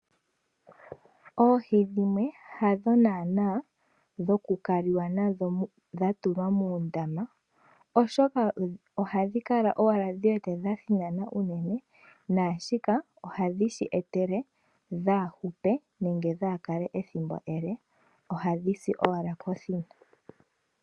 Oohi dhimwe hadho nana dhokukaliwa nadho dha tulwa muundama oshoka ohadhi kala owala dhi wete dha thinana unene nashika ohadhi shi etele dha hupe nenge dha kale ethimbo ele ohadhi si owala kothina.